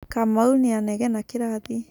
Kamau nĩanegenaga kĩrathi.